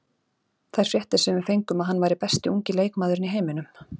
Þær fréttir sem við fengum að hann væri besti ungi leikmaðurinn í heiminum.